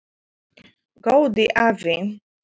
Góði afi.